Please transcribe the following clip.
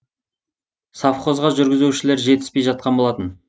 совхозға жүргізушілер жетіспей жатқан болатын